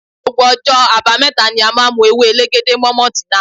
Gbogbo ọjọ́ abameta ni a máa ń mu ewé elegede mọ maltina.